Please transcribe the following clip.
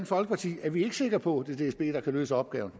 folkeparti er vi ikke sikre på at det er dsb der kan løse opgaven